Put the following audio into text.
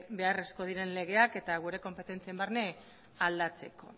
beharrezkoak diren legeak eta gure konpetentzien barne aldatzeko